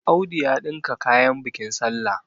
Audu ya ɗinka kayan bikin sallah